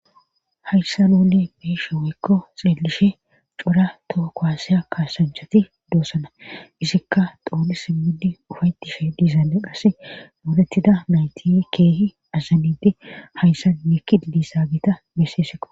hayssa bool bee'ashe weykko xeelishe cora too koaasiya kaasanchati doosana isikka xooni simmidi ufaytishe diizane qase moolettida mayti keehi azanidi hayssa mekki didi saagita besseeseqo